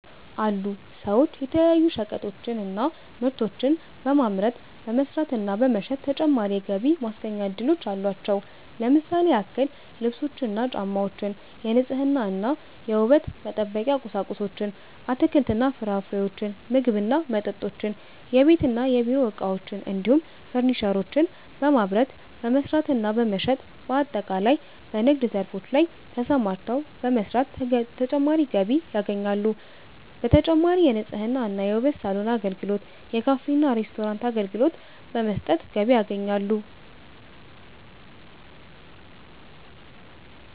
አሉ ሰዎች የተለያዩ ሸቀጣሸቀጦችን እና ምርቶችን በማምረት፣ በመስራት እና በመሸጥ ተጨማሪ የገቢ ማስገኛ እድሎች አሏቸው። ለምሳሌ ያክል ልብሶችን እና ጫማወችን፣ የንጽህና እና የውበት መጠበቂያ ቁሳቁሶችን፣ አትክልት እና ፍራፍሬዎችን፣ ምግብ እና መጠጦችን፣ የቤት እና የቢሮ እቃዎችን እንዲሁም ፈርኒቸሮችን በማምረት፣ በመስራት እና በመሸጥ በአጠቃላይ በንግድ ዘርፎች ላይ ተሰማርተው በመስራት ተጨማሪ ገቢ ያገኛሉ። በተጨማሪም የንጽህና እና የውበት ሳሎን አገልግሎት፣ የካፌ እና ሬስቶራንት አገልግሎት በመስጠት ገቢ ያገኛሉ።